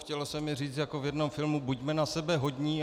Chtělo se mi říct jako v jednom filmu: buďme na sebe hodní.